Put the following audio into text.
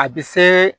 A bɛ se